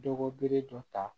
Dɔgɔbele dɔ ta